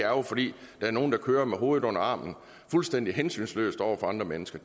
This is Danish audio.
jo fordi der er nogle der kører med hovedet under armen fuldstændig hensynsløst over for andre mennesker